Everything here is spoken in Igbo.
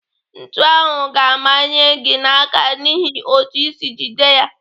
Ntu ahụ ga-amanye gị n'aka n'ihi otú isi jide ya.